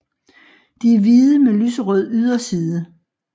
De er hvide med lyserød yderside